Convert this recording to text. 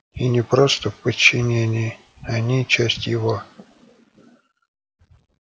и не просто в подчинении они часть его